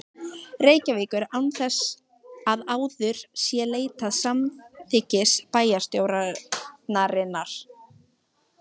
Reykjavíkur, án þess að áður sé leitað samþykkis bæjarstjórnarinnar.